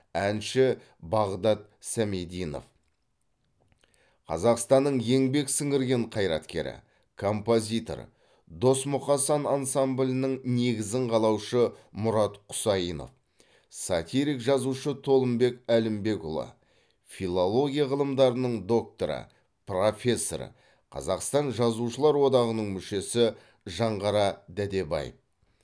әнші бағдат сәмидинов қазақстанның еңбек сіңірген қайраткері композитор дос мұқасан ансамблінің негізін қалаушы мұрат құсайынов сатирик жазушы толымбек әлімбекұлы филология ғылымдарының докторы профессор қазақстан жазушылар одағының мүшесі жанғара дәдебаев